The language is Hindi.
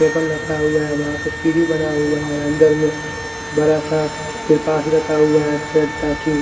टेबल रखा हुआ है वहां पे सीडी बना हुआ है अंदर में बड़ा सा तिरपाल ही रखा हुआ है --